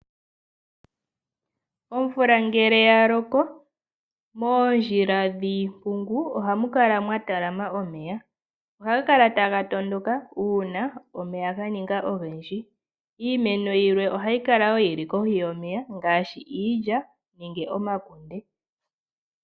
Omvula ngele yaloko moondjila dhiimpungu ohamu kala mwatalama omeya. Ohaga kala taga tondoka uuna omeya ganinga ogendji. Iimeno yilwe ohayi kala woo yili kohi yomeya ngaashi iilya nenge omakunde.